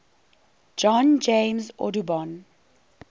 john james audubon